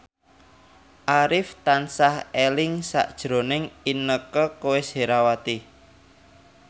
Arif tansah eling sakjroning Inneke Koesherawati